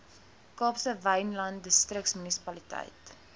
kaapse wynland distriksmunisipaliteit